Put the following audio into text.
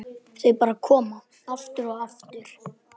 Þau bara koma, aftur og aftur.